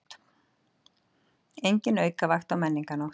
Engin aukavakt á Menningarnótt